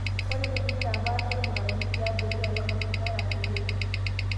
Ore tinintapasha irmutaroni tiabori alang orketira pee iput